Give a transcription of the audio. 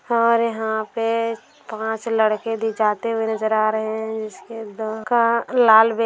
और यहां पे पांच लड़के जाते हुए नजर आ रहे हैं जिसके दो क लाल बैग --